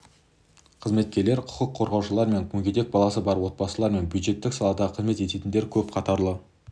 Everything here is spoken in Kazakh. қызметкерлер құқық қорғаушылар мен мүгедек баласы бар отбасылар және бюджеттік салада қызмет ететіндер көп қатарлы